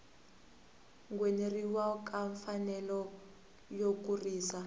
ngheneleriwa ka mfanelo yo kurisa